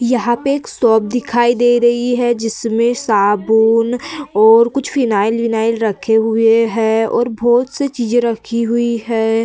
यहाँ पे एक शॉप दिखाई दे रही है जिसमें साबुन और कुछ फिनाइल विनाइल रखे हुए है और बहोत सी चीजे रखी हुई है।